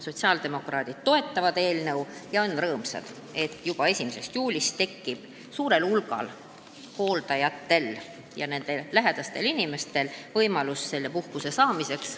Sotsiaaldemokraadid toetavad eelnõu ja on rõõmsad, et juba 1. juulist tekib suurel hulgal hooldajatel ja nende lähedastel inimestel võimalus seda puhkust saada.